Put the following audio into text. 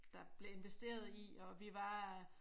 Der bliver investeret i og vi var